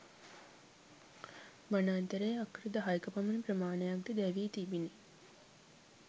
වනාන්තරයේ අක්කර දහයක පමණ ප්‍රමාණයක්ද දැවී තිබිණි.